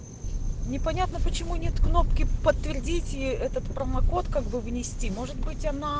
не понятно почему нет кнопки подтвердите и этот промокод как бы внести может быть она